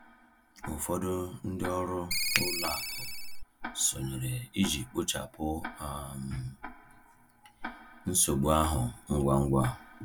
Ụfọdụ ndị ọrụ ụlọ akụ sonyere iji kpochapụ um nsogbu ahụ ngwa ngwa.